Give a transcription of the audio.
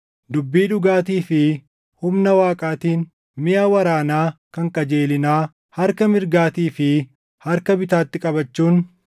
dubbii dhugaatii fi humna Waaqaatiin, miʼa waraanaa kan qajeelinaa harka mirgaatii fi harka bitaatti qabachuun,